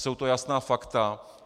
Jsou to jasná fakta.